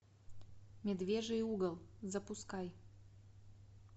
медвежий угол запускай